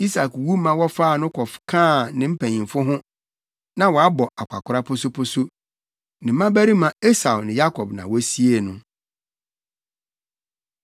Isak wu ma wɔfaa no kɔkaa ne mpanyimfo ho; na wabɔ akwakoraa posoposo. Ne mmabarima Esau ne Yakob na wosiee no.